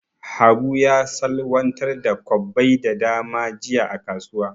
Habu ya salwantar da kwabbai da dama jiya a kasuwa.